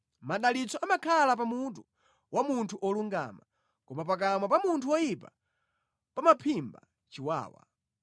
Madalitso amakhala pa mutu wa munthu wolungama, koma pakamwa pa munthu woyipa pamaphimba chiwawa.